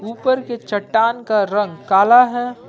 ऊपर के चट्टान का रंग काला है।